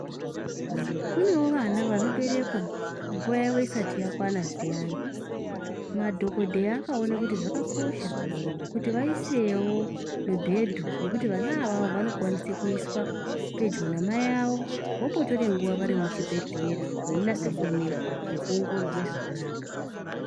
kunevo vana vanoberekwa nguva yavo isati yakwana zviyani. Madhogodheya akaona kuti zvakakosha kuti vaisevo mibhedhu yekuti vana ava vanokwanise kuiswa pedyo naamai avo. Vombotore nguva vari muchibhedhlera veinase kuonekwa nekuongororwe zvakakanaka.